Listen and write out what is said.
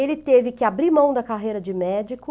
Ele teve que abrir mão da carreira de médico,